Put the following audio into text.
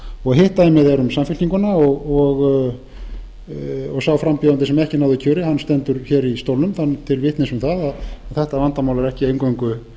hitt dæmið er um samfylkinguna og sá frambjóðandi sem ekki náði kjöri stendur í stólnum til vitnis um það að þetta vandamál er ekki eingöngu